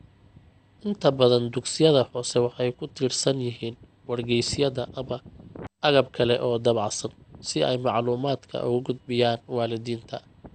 Inta badan dugsiyada hoose waxay ku tiirsan yihiin wargeysyada ama agab kale oo daabacan si ay macluumaadka ugu gudbiyaan waalidiinta.